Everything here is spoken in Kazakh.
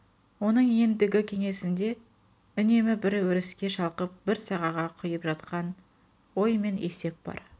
оның ендігі кеңесінде үнемі бір еріске шалқып бір сағаға құйып жатқан ой мен есеп бар